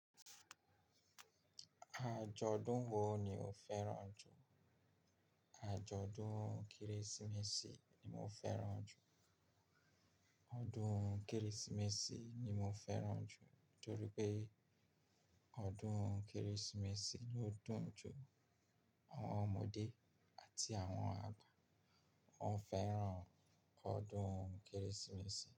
Àjọ̀dún wo ni o fẹ́ràn jù? Àjọ̀dún Kérésìmesì ni mo fẹ́ràn jù. Ọdún Kérésìmesì ni mo fẹ́ràn jù nítorí pé ọdún Kérésìmesì ló dùn jù. Àwọn ọmọdé àti àwọn àgbà, wọ́n fẹ́ràn ọdún Kérésìmesì.